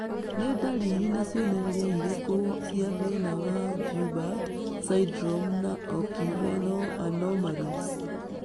Nĩ ndariri na cionereria irĩkũ cia thĩna wa Joubert syndrome na oculorenal anomalies?